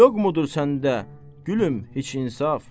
Yoxmudur səndə, gülüm, heç insaf.